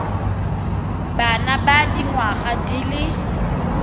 bana ba dingwaga di le